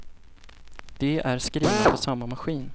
De är skrivna på samma maskin.